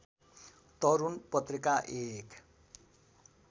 तरूण पत्रिका एक